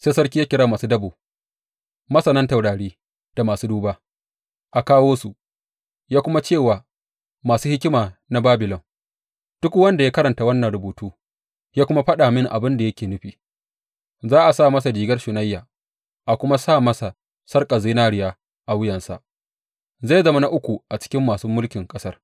Sai sarki ya kira masu dabo, masanan taurari da masu duba, a kawo su, ya kuma ce wa masu hikima na Babilon, Duk wanda ya karanta wannan rubutu ya kuma faɗa mini abin da yake nufi, za a sa masa rigar shunayya, a kuma sa masa sarƙar zinariya a wuyansa, zai zama na uku a cikin masu mulkin ƙasar.